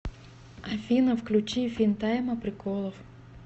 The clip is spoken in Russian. афина включи финтайма приколов